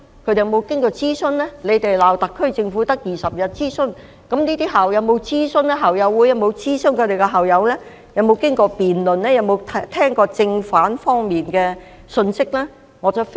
泛民議員罵特區政府只有20天進行諮詢，那這些校友會在發表聲明前，有否諮詢過校友、經過辯論，並聆聽正反兩面的觀點呢？